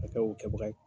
A kɛ o kɛbaga ye